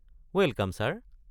Welcome sir!